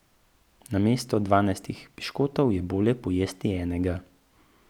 Namesto dvanajstih piškotov je bolje pojesti enega.